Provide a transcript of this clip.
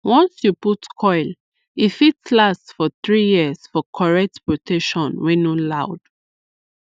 once you put coil e fit last for 3yrs for correct protection wey no loud